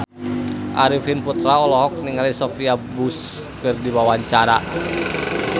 Arifin Putra olohok ningali Sophia Bush keur diwawancara